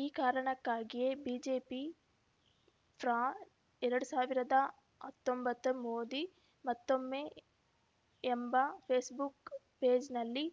ಈ ಕಾರಣಕ್ಕಾಗಿಯೇ ಬಿಜೆಪಿ ಫ್ರಾ ಎರಡ್ ಸಾವಿರದ ಹತ್ತೊಂಬತ್ತು ಮೋದಿ ಮತ್ತೊಮ್ಮೆ ಎಂಬ ಫೇಸ್‌ಬುಕ್‌ ಪೇಜ್‌ನಲ್ಲಿ